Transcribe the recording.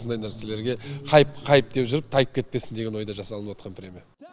осындай нәрселерге хайп хайп деп жүріп тайып кетпесін деген ойда жасалып отырған премия